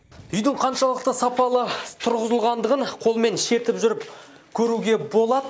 үйдің қаншалықты сапалы тұрғызылғандығын қолмен шертіп жүріп көруге болады